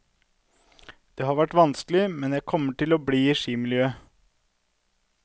Det har vært vanskelig, men jeg kommer til å bli i skimiljøet.